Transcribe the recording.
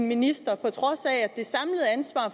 minister